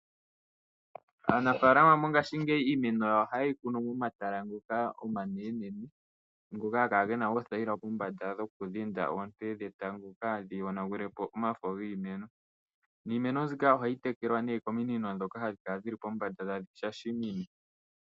Aanafaalama mongashingeyi iimeno yawo ohaye yi kunu momatala ngoka omanene, haga kala gena oothayila pombanda dhoku dhinda onte dhetango kaadhi yonagule po omafo giimeno. Niimeno mbika ohayi tekelwa nduno kominino dhoka hadhi kala dhili pombanda tadhi shashamine.